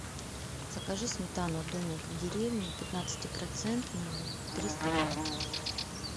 закажи сметану домик в деревне пятнадцати процентную триста грамм